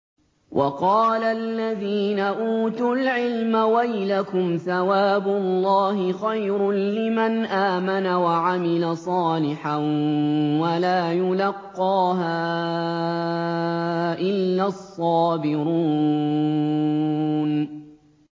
وَقَالَ الَّذِينَ أُوتُوا الْعِلْمَ وَيْلَكُمْ ثَوَابُ اللَّهِ خَيْرٌ لِّمَنْ آمَنَ وَعَمِلَ صَالِحًا وَلَا يُلَقَّاهَا إِلَّا الصَّابِرُونَ